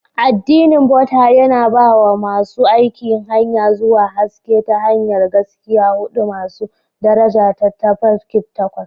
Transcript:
Addinin Buddah, yana ba wa masu aiki hanya zuwa haske ta hanyar Gaskiya huɗu masu daraja da Tafarki Takwas.